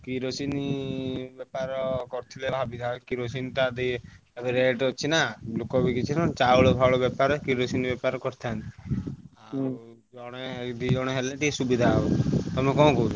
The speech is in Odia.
କିରୋସିନ ବେପାର ଏବେ rate ଅଛି ନାଁ ଚାଉଲ ଫାଉଳ ବେପାର କିରୋସିନ ବେପାର କରିଥାନ୍ତି। ଆଉ ଜଣେ ଦି ଜଣ ହେଲେ ସୁବିଧା ହବ ତମେ କଣ କହୁଛ?